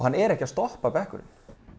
hann er ekki að stoppa bekkurinn